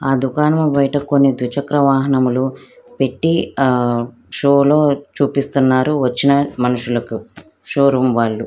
ఆ దుకాణం బయట కొన్ని ద్వి చక్ర వాహనాలు పెట్టి ఆ షో లో చూపిస్తున్నారు వచ్చిన మనుషులకు షో రూమ్ వాళ్ళు --